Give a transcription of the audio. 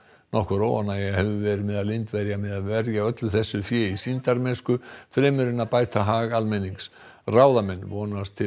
nokkur óánægja hefur verið meðal Indverja með að verja öllu þessu fé í sýndarmennsku fremur en að bæta hag almennings ráðamenn vonast til